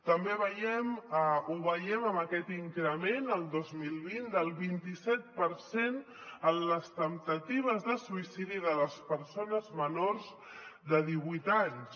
també ho veiem en aquest increment el dos mil vint del vint i set per cent en les temptatives de suïcidi de les persones menors de divuit anys